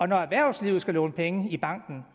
når erhvervslivet skal låne penge i banken